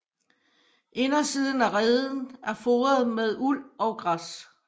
Indersiden af reden er foret med uld og græs